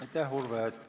Aitäh, Urve!